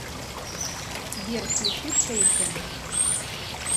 сбер включи шейкен